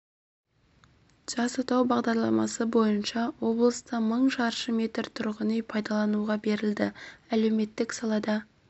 жас отау бағдарламасы бойынша облыста мың шаршы метр тұрғын үй пайдалануға берілді әлеуметтік сала да